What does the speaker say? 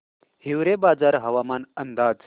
हिवरेबाजार हवामान अंदाज